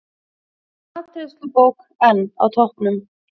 Matreiðslubók enn á toppnum